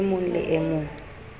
e mong le e mong